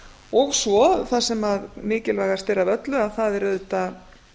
og svo það sem mikilvægast er af öllu að það er auðvitað